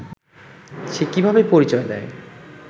সে কিভাবে পরিচয় দেয়